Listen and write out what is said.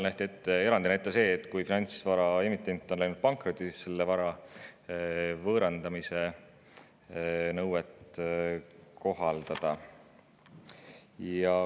Nähti erandina ette, et kui finantsvara emitent on läinud pankrotti, siis tuleb kohaldada selle vara võõrandamise nõuet.